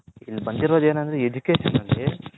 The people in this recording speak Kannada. ಇಲ್ಲಿ ಬಂದಿರೋದು ಏನಂದ್ರೆ Education ಅಲ್ಲಿ